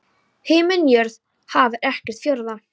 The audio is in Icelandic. Himinn jörð haf er ekkert fjórða?